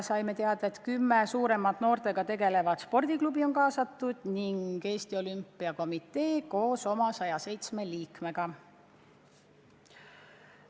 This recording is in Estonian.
Saime teada, et kaasatud on kümme suuremat noortega tegelevat spordiklubi ning Eesti Olümpiakomitee koos oma 107 liikmega.